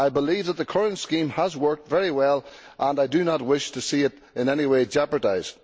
I believe that the current scheme has worked very well, and I do not wish to see it in any way jeopardised.